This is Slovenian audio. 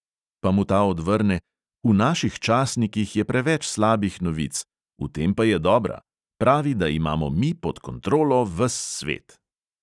Pa mu ta odvrne: "v naših časnikih je preveč slabih novic, v tem pa je dobra; pravi, da imamo mi pod kontrolo ves svet."